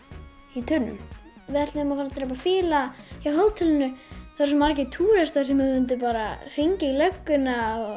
í tunnu við ætluðum að drepa fýla hjá hótelinu það eru svo margir túristar sem mundu hringja í lögguna